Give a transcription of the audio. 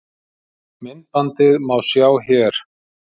Myndbandið má sjá hér